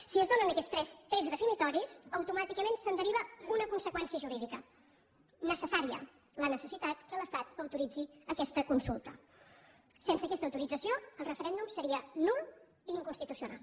si es donen aquests tres trets definidors automàticament se’n deriva una conseqüència jurídica necessària la necessitat que l’estat autoritzi aquesta consulta sense aquesta autorització el referèndum seria nul i inconstitucional